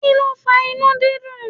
Kí ló fa inú dídùn?